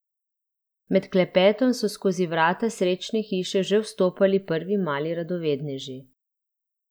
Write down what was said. Med klepetom so skozi vrata Srečne hiše že vstopali prvi mali radovedneži.